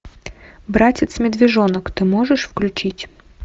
братец медвежонок ты можешь включить